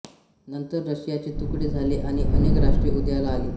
नंतर रशियाचे तुकडे झाले आणि अनेक राष्ट्रे उदयाला आली